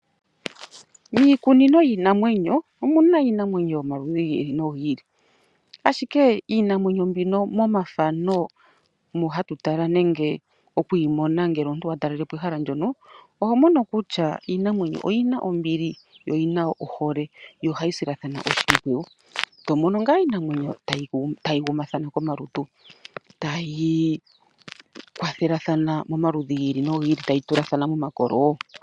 Iikunino yiinamwenyo omu na iinima yi ili noyi ili. Ashike iinamwenyo mbika momathano ngoka hatu tala, nenge okuyi mona ngele wa talelepo ehala ndyono, oho mono kutya iinamwenyo mbino oyi na ombili yo oyina ohole tayi silathana oshimpwiyu. Tomono ngaa tayi gumathana komalutu tai ikwathele notayi tulathana momakolo wo.